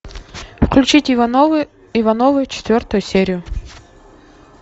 включить ивановы ивановы четвертую серию